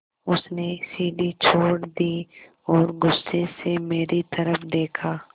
उसने सीढ़ी छोड़ दी और गुस्से से मेरी तरफ़ देखा